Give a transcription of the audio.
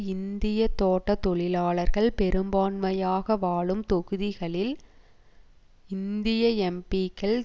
இந்திய தோட்ட தொழிலாளர்கள் பெரும்பான்மையாக வாழும் தொகுதிகளில் இந்திய எம்பீக்கள்